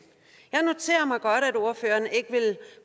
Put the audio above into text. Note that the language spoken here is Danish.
ordføreren ikke vil